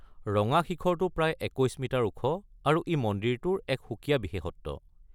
ৰঙা শিখৰটো প্ৰায় ২১ মিটাৰ ওখ আৰু ই মন্দিৰটোৰ এক সুকীয়া বিশেষত্ব।